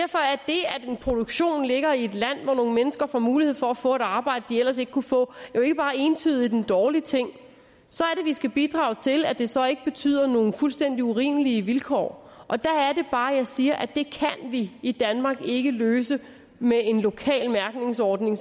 at en produktion ligger i et land hvor nogle mennesker får mulighed for at få et arbejde de ellers ikke kunne få jo ikke bare entydigt en dårlig ting så er det vi skal bidrage til at det så ikke betyder nogle fuldstændig urimelige vilkår og der er det bare jeg siger at det kan vi i danmark ikke løse med en lokal mærkningsordning